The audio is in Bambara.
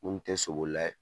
Mun tɛ sobolila ye.